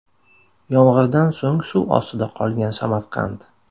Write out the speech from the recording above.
Yomg‘irdan so‘ng suv ostida qolgan Samarqand.